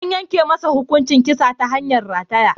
An yanke masa hukuncin kisa ta hanyar rataya.